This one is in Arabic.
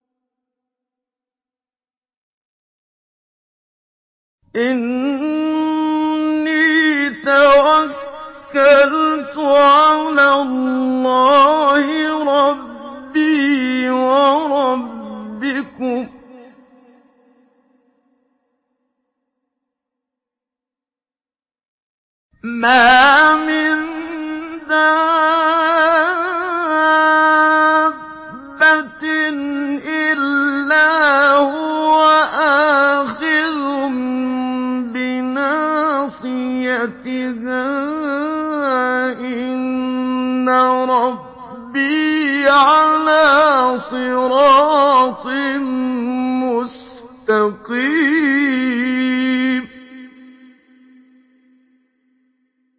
إِنِّي تَوَكَّلْتُ عَلَى اللَّهِ رَبِّي وَرَبِّكُم ۚ مَّا مِن دَابَّةٍ إِلَّا هُوَ آخِذٌ بِنَاصِيَتِهَا ۚ إِنَّ رَبِّي عَلَىٰ صِرَاطٍ مُّسْتَقِيمٍ